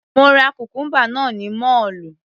Mo ra cucumber náà ní mọ́ọ̀lù.